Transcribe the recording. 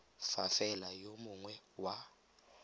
fa fela yo mongwe wa